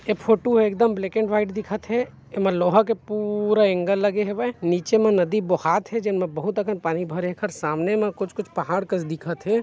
ऐ फोटू ह एकदम ब्लैक एंड वाइट दिखत हे एमा लोहा के पूउउउउरा एंगल लगे हेवय नीचे म नदी बोहात हे जेन म बहुत अकन पानी भरे एखर सामने म कुछ -कुछ पहाड़ कस दिखत हे।